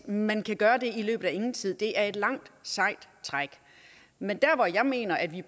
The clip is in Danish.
at man kan gøre det i løbet af ingen tid for det er et langt sejt træk men der hvor jeg mener at vi